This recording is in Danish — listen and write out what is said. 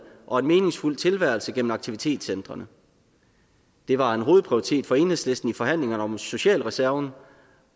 og en meningsfuld tilværelse gennem aktivitetscentrene det var en hovedprioritet for enhedslisten i forhandlingerne om socialreserven